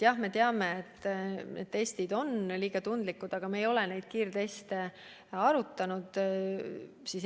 Jah, me teame, et testid on liiga tundlikud, aga me ei ole neid kiirteste arutanud.